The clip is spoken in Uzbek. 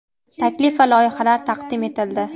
taklif va loyihalar taqdim etildi.